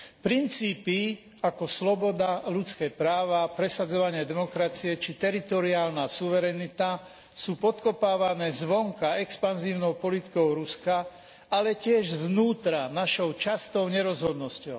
Princípy ako sloboda, ľudské práva, presadzovanie demokracie či teritoriálna suverenita sú podkopávané zvonka expanzívnou politikou Ruska, ale tiež zvnútra našou častou nerozhodnosťou.